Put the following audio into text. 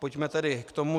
Pojďme tedy k tomu.